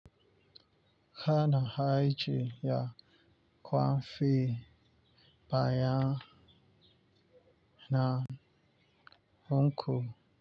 Ka na ajiye kwafai baya na hunku.